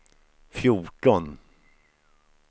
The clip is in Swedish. fjorton